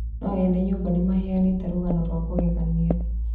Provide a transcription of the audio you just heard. No ene nyũmba nĩmaheanĩte rũgano rwa kũgegania